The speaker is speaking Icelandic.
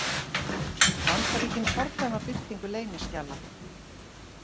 Bandaríkin fordæma birtingu leyniskjala